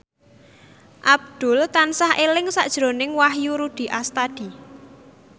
Abdul tansah eling sakjroning Wahyu Rudi Astadi